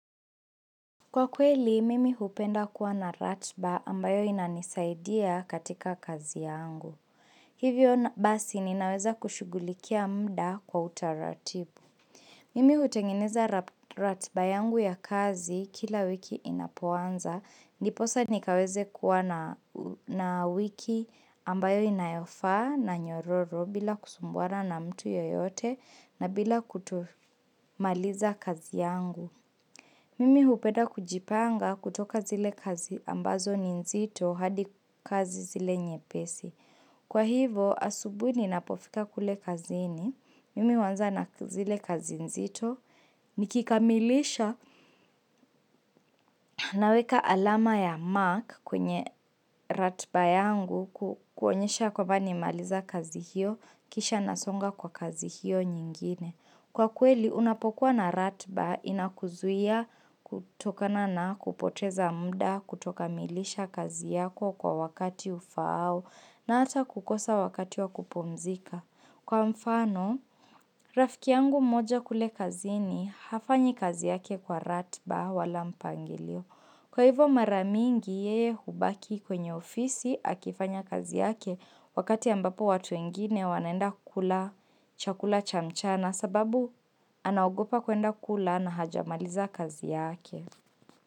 Kwa kweli, mimi hupenda kuwa na ratiba ambayo inanisaidia katika kazi yangu. Hivyo basi ninaweza kushughulikia muda kwa utaratibu. Mimi hutengeneza ratiba yangu ya kazi kila wiki inapoanza. Ndiposa nikaweze kuwa na wiki ambayo inayofaa na nyororo bila kusumbuana na mtu yoyote na bila kutumaliza kazi yangu. Mimi hupenda kujipanga kutoka zile kazi ambazo ni nzito hadi kazi zile nye pesi. Kwa hivo, asubuhi ninapofika kule kazi ini. Mimi huanza na zile kazi nzito. Nikikamilisha naweka alama ya Mark kwenye ratiba yangu kuonyesha kwamba nimemaliza kazi hiyo, kisha nasonga kwa kazi hiyo nyingine. Kwa kweli unapokuwa na ratba inakuzuia kutokana na kupoteza mda kutokamilisha kazi yako kwa wakati ufaao au na ata kukosa wakati wa kupumzika. Kwa mfano, rafiki yangu mmoja kule kazi ni hafanyi kazi yake kwa ratba wala mpangilio. Kwa hivo maramingi yeye hubaki kwenye ofisi akifanya kazi yake wakati ambapo watu wengine wanaenda kula chakula chamchana sababu anaogopa kuenda kula na hajamaliza kazi yake.